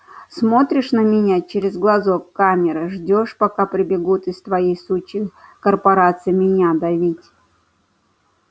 смотришь на меня через глазок камеры ждёшь пока прибегут из твоей сучьей корпорации меня давить